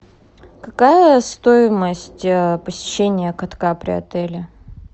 какая стоимость посещения катка при отеле